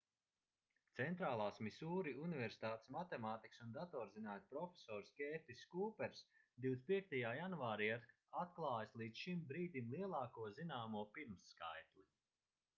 centrālās misūri universitātes matemātikas un datorzinātņu profesors kērtiss kūpers 25. janvārī ir atklājis līdz šim brīdim lielāko zināmo pirmskaitli